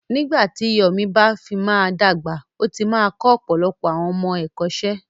Nígbà tí Yomi bá fi máa dàgbà, ó ti máa kọ́ ọ̀pọ̀lọpọ̀ àwọn ọmọ ẹ̀kọ́ṣẹ́.